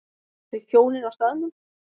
Þau hjónin á staðnum